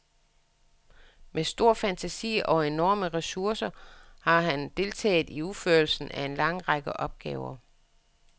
Med stor fantasi og enorme ressourcer har han deltaget i udførelsen af en lang række opgaver.